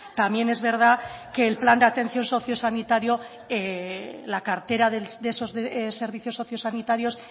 también es verdad que el plan de atención socio sanitario la cartera de esos servicios socio sanitarios